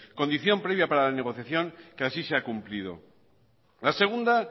condición previa para negociación que así se ha cumplido la segunda